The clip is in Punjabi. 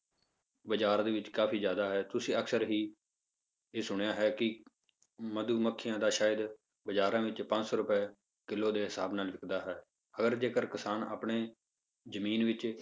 ਬਾਜ਼ਾਰ ਦੇ ਵਿੱਚ ਕਾਫ਼ੀ ਜ਼ਿਆਦਾ ਹੈ ਤੁਸੀਂ ਅਕਸਰ ਹੀ ਇਹ ਸੁਣਿਆ ਹੈ ਕਿ ਮਧੂਮੱਖੀਆਂ ਦਾ ਸ਼ਹਿਦ ਬਾਜ਼ਾਰਾਂ ਵਿੱਚ ਪੰਜ ਸੌ ਰੁਪਏ ਕਿੱਲੋ ਦੇ ਹਿਸਾਬ ਨਾਲ ਵਿੱਕਦਾ ਹੈ ਅਗਰ ਜੇਕਰ ਕਿਸਾਨ ਆਪਣੇ ਜ਼ਮੀਨ ਵਿੱਚ